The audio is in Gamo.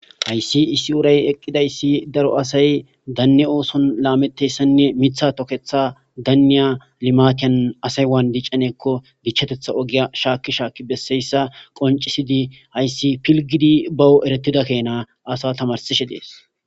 Haysi issi uray eqidaysi daro asay Dane osson lametizaysan Mitha tokethan Dana limatan asay wani dichanakon dichatetha ogiya shaki shaki besiyaysa qonccisidi haysi pilgidi baw eretida kena asa tamarsishe dess